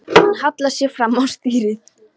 Hann hallar sér fram á stýrið.